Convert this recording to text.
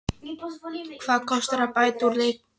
Hvað kostar að bæta úr lekanum?